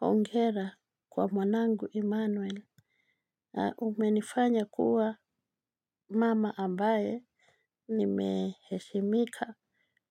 Hongera kwa mwanangu Immanuel. Umenifanya kuwa mama ambaye nimeheshimika.